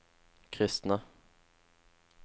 kristne